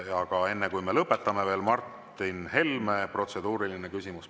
Aga enne, kui me lõpetame, Martin Helme, protseduuriline küsimus.